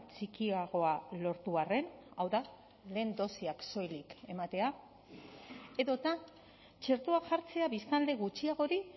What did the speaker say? txikiagoa lortu arren hau da lehen dosiak soilik ematea edota txertoa jartzea biztanle gutxiagori